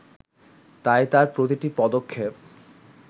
তাই তার প্রতিটি পদক্ষেপ